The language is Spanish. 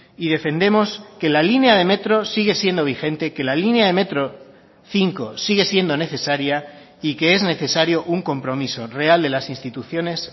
y defendemos que la línea de metro sigue siendo vigente que la línea de metro cinco sigue siendo necesaria y que es necesario un compromiso real de las instituciones